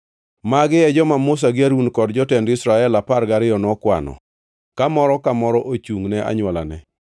Magi e joma Musa gi Harun kod jotend Israel apar gariyo nokwano, ka moro ka moro ochungʼ ne anywolane.